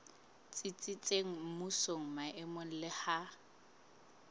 tsitsitseng mmusong maemong le ha